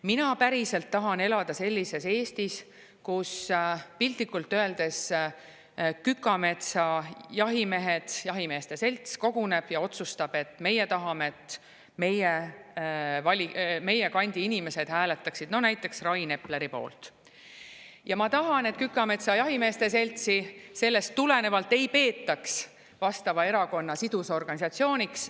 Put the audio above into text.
Mina päriselt tahan elada sellises Eestis, et kui piltlikult öeldes Kükametsa jahimehed, jahimeeste selts koguneb ja otsustab, et nemad tahavad, et nende kandi inimesed hääletaksid näiteks Rain Epleri poolt, siis Kükametsa jahimeeste seltsi sellest tulenevalt ei peetaks vastava erakonna sidusorganisatsiooniks.